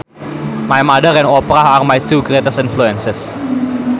My mother and Oprah are my two greatest influences